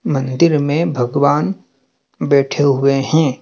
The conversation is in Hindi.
मंदिर में भगवान बैठे हुए हैं।